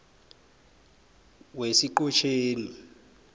wesiqhotjeni